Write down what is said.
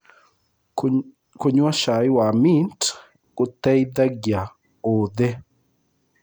Kũnyua cai wa mĩnt gũteĩthagĩa ũthĩĩ